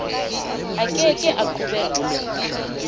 a ke ke a qobellwa